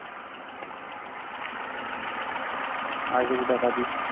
আর কিছু টাকা দিয়ে